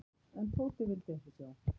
En Tóti vildi ekki sjá.